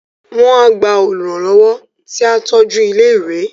Wọ́n á gba Olùrànlọ́wọ́ tí á tọ́jú ilé ìwé